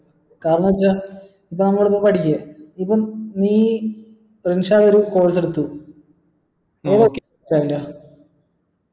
കാരണന്ന് വെച്ച നമ്മൾ ഇപ്പൊ പഠിക്ക ഇപ്പൊ നീയ് റിൻഷാദ് ഒരു course എടുത്തു